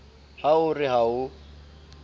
ha o re ha o